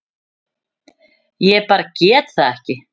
Ég bara get það ekki.